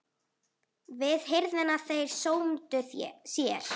Við hirðina þeir sómdu sér.